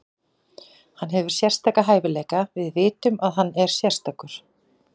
Hann hefur sérstaka hæfileika, við vitum að hann er sérstakur.